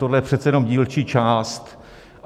Tohle je přece jenom dílčí část.